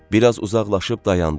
Bir az uzaqlaşıb dayandı.